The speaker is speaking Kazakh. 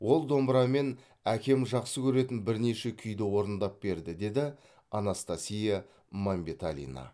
ол домбырамен әкем жақсы көретін бірнеше күйді орындап берді деді анастасия мәмбеталина